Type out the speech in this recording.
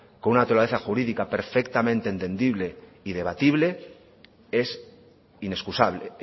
con una naturaleza jurídica perfectamente entendible y debatible es inexcusable